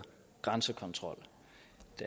et